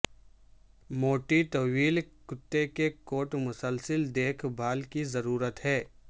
موٹی طویل کتے کی کوٹ مسلسل دیکھ بھال کی ضرورت ہے